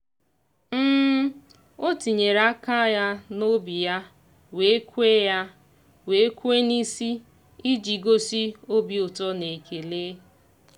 o tinyere aka ya n'obi ya wee kwe ya wee kwe n'isi iji gosi obi ụtọ na ekele.